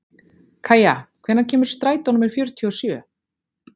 Kæja, hvenær kemur strætó númer fjörutíu og sjö?